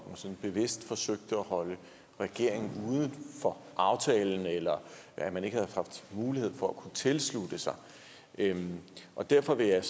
sådan bevidst forsøgte at holde regeringen uden for aftalen eller at man ikke havde haft mulighed for at kunne tilslutte sig og derfor vil jeg